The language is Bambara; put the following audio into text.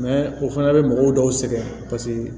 o fana bɛ mɔgɔw dɔw sɛgɛn